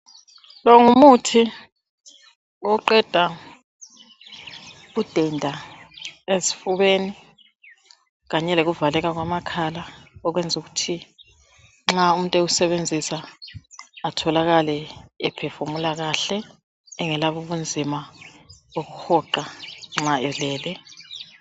Lo ngumuthi oqeda undenda esifubeni kanye lokuvaleka kwamakhala . Okwenza ukuthi nxa umuntu ewusebenzisa atholakale ephefumula kahle engelabo ubunzima bokuhoqa nxa elele.